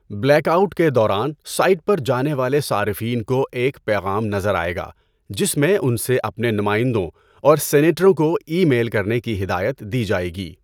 Black out کے دوران site پر جانے والے صارفین کو ایک پیغام نظر آئے گا جس میں ان سے اپنے نمائندوں اور سینیٹروں کو ای میل کرنے کی ہدایت دی جائے گی۔